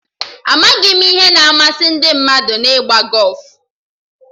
Amaghị m ihe na-amasị ndị mmadụ na-ịgba gọfụ